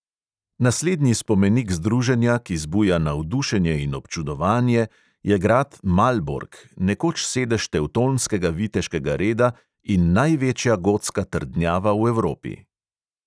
Naslednji spomenik združenja, ki zbuja navdušenje in občudovanje, je grad malbork, nekoč sedež tevtonskega viteškega reda in največja gotska trdnjava v evropi.